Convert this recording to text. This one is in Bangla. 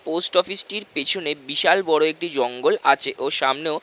পোস্ট অফিস টির পেছনে বিশাল বড়ো একটি জঙ্গল আছে ও সামনেও--